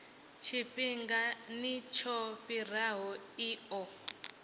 tshifhingani tsho fhiraho i ḓo